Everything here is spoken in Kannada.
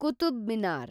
ಕುತುಬ್ ಮಿನಾರ್